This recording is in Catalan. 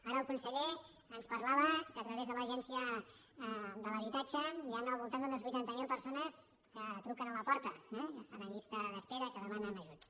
ara el conseller ens parlava que a través de l’agència de l’habitatge hi han al voltant d’unes vuitanta miler persones que truquen a la porta que estan en llista d’espera que demanen ajuts